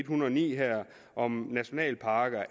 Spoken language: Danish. hundrede og ni her om nationalparker